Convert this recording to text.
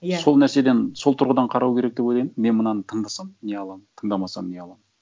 иә сол нәрседен сол тұрғыдан қарау керек деп ойлаймын мен мынаны тыңдасам не аламын тыңдамасам не аламын